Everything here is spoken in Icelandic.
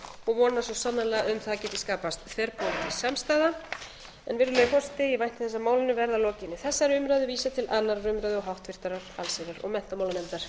og vona svo sannarlega að um það geti skapast þverpólitísk samstaða virðulegi forseti ég vænti þess að málinu verði að lokinni þessari umræðu vísað til annarrar umræðu og háttvirtrar allsherjar og menntamálanefndar